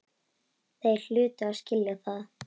Þeir hlutu að skilja það.